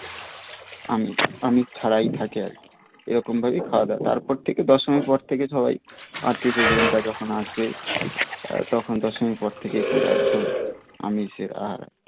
আমিষ আমিষ ছাড়াই থাকে আর কি এরকম ভাবেই খাওয়া দাওয়া তারপর থেকে দশমীর পর থেকে সবাই আত্মীয় স্বজনরা যখন আসে তখন দশমীর পর থেকে পুরা একদম আমিষের আর